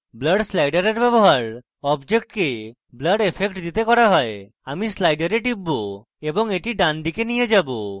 blur slider ব্যবহার অবজেক্টকে blur effect দিতে করা হয় আমি slider টিপব এবং the ডানদিকে নিয়ে যাবো